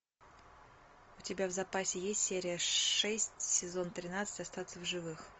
у тебя в запасе есть серия шесть сезон тринадцать остаться в живых